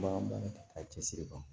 Ban ka cɛsiri dɔn